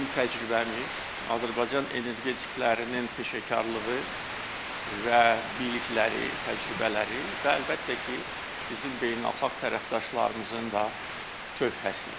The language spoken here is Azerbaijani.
Bizim təcrübəmiz, Azərbaycan energetiklərinin peşəkarlığı və bilikləri, təcrübələri və əlbəttə ki, bizim beynəlxalq tərəfdaşlarımızın da tövhəsi.